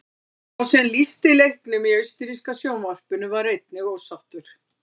Sá sem lýsti leiknum í austurríska sjónvarpinu var einnig ósáttur.